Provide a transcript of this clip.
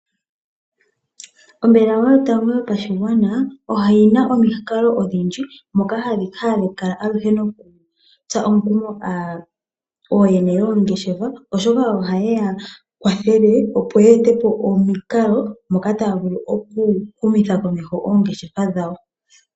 Ombaanga yotango yopashigwana oyina omikalo odhindji moka hadhi kala tsa omukumo aantu , ooyene yongeshefa oshoka kwathele yeetepo omikalo nkene taya humitha komeho oongeshefa dhawo.